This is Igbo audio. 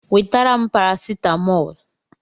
Wetara m paracetamol!